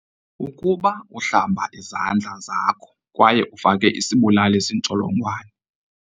Ukuba uhlamba izandla zakho kwaye ufake isibulali zintsholongwane.